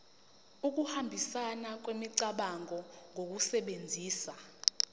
ukuhambisana kwemicabango ngokusebenzisa